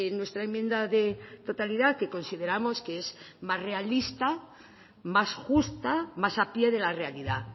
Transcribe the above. nuestra enmienda de totalidad que consideramos que es más realista más justa más a pie de la realidad